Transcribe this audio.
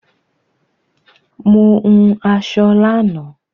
Mo hun aṣọ lánàá